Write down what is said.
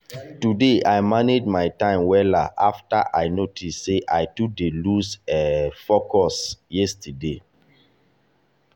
today i manage my time wella after i notice sey i too dey lose um focus yesterday.